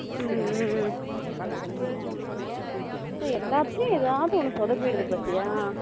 ஹம் ஹம் எல்லாத்துலயும் ஏதாவது சோதப்பிருது பாத்தயா